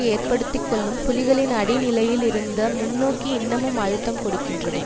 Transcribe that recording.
ஏற்படுத்திக்கொள்ளும் புலிகளின் அடிநிலையில் இருந்த முன்நோக்கி இன்னமும் அழுத்தம் கொடுக்கின்றது